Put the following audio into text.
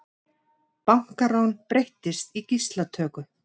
Bankarán breyttist í gíslatöku